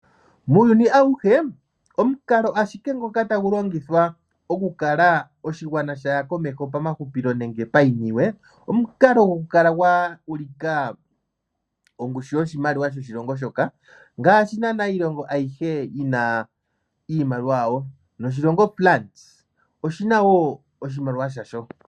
Muuyuni awuhe, omukalo ashike ngoka tagu longithwa okukala oshigwana shaya komeho pamahupilo nenge payiniwe, omukalo gokukala gwa ulika ongushu yoshimaliwa shoshilongo shoka, ngaashi naana iilonga ayihe yina iimaliwa yawo. Noshilongo France oshina wo oshimaliwa shasho.